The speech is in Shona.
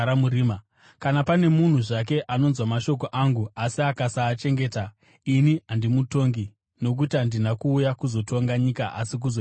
“Kana pane munhu zvake anonzwa mashoko angu, asi akasaachengeta, ini handimutongi. Nokuti handina kuuya kuzotonga nyika, asi kuzoiponesa.